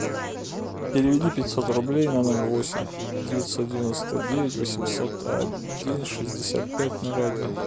переведи пятьсот рублей на номер восемь девятьсот девяносто девять восемьсот один шестьдесят пять ноль один